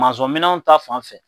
minɛnw ta fan fɛ